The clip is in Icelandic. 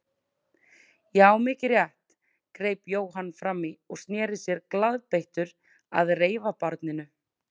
Já, mikið rétt, greip Jóhann fram í og sneri sér glaðbeittur að reifabarninu.